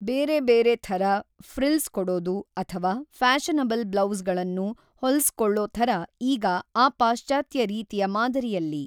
ಬೇರೆ ಬೇರೆ ಥರ ಫ್ರಿಲ್ಸ್ ಕೊಡೋದು ಅಥವಾ ಫ್ಯಾಷನಬಲ್ ಬ್ಲೌಸ್‌ಗಳನ್ನು ಹೊಲ್ಸ್ಕೊಳ್ಳೋ ಥರ ಈಗ ಆ ಪಾಶ್ಚಾತ್ಯ ರೀತಿಯ ಮಾದರಿಯಲ್ಲಿ